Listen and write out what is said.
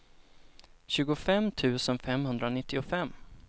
tjugofem tusen femhundranittiofem